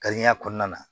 Kariya kɔnɔna na